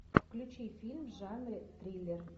включи фильм в жанре триллер